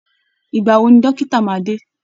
Ìgbà wo ni dókítà máa dé?